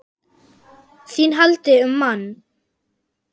ÞÍN HALDI UM MANN!